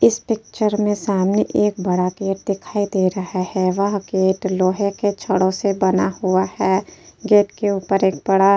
इस पिक्चर में सामने एक बड़ा गेट दिखाई दे रहा है। वह गेट लोहे के छड़ों से बना हुआ है। गेट के ऊपर एक बड़ा --